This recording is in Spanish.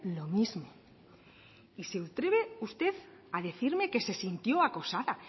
lo mismo y se atreve usted a decirme que se sintió acosada